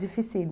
Dificílimo.